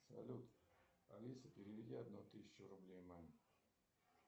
салют алиса переведи одну тысячу рублей маме